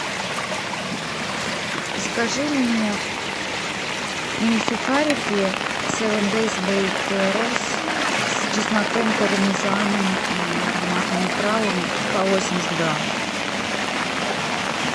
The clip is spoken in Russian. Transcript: закажи мне мини сухарики севен дей бейк роллс с чесноком пармезаном и ароматными травами по восемьдесят грамм